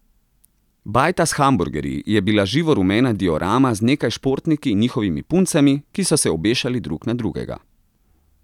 Bajta s hamburgerji je bila živo rumena diorama z nekaj športniki in njihovimi puncami, ki so se obešali drug na drugega.